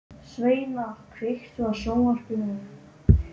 Sveina, kveiktu á sjónvarpinu.